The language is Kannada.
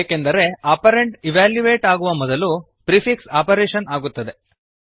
ಏಕೆಂದರೆ ಆಪರಂಡ್ ಇವ್ಯಾಲ್ಯುಯೇಟ್ ಆಗುವ ಮೊದಲು ಪ್ರಿಫಿಕ್ಸ್ ಆಪರೇಶನ್ ಆಗುತ್ತದೆ